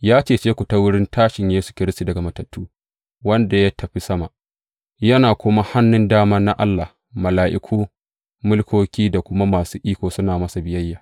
Ya cece ku ta wurin tashin Yesu Kiristi daga matattu, wanda ya tafi sama, yana kuma a hannun dama na Allah, mala’iku, mulkoki da kuma masu iko suna masa biyayya.